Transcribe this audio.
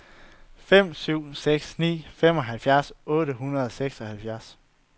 fem syv seks ni femoghalvfjerds otte hundrede og seksoghalvfems